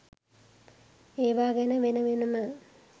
ඒවා ගැන වෙන වෙනම